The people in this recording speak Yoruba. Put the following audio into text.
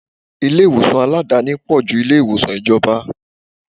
Ilé ìwòsàn Aládàáni pò ju ilé ìwòsàn ìjọba.